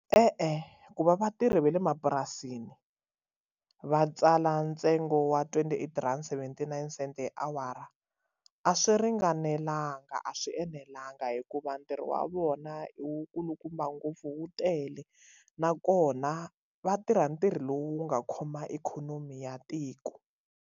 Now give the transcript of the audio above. E-e va vatirhi va le mapurasini va tsala ntsengo wa twenty eight rand seventy nine cent hi awara a swi ringanelanga a swi enelanga hikuva ntirho wa vona i wu kulukumba ngopfu wu tele nakona va tirha ntirho lowu nga khoma ikhonomi ya tiko.